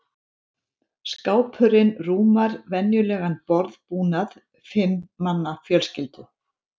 Skápurinn rúmar venjulegan borðbúnað fimm manna fjölskyldu.